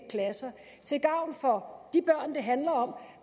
klasser til gavn for de børn det handler om